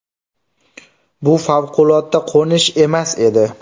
Bu favqulodda qo‘nish emas edi.